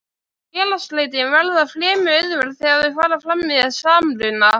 Félagsslitin verða fremur auðveld þegar þau fara fram með samruna.